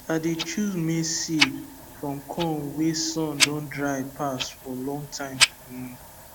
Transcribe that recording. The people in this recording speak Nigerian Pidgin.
i dey choose maize seed from corn wey sun don dry pass for long time um